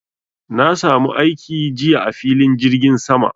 Na samu aiki jiya a filin jirgin sama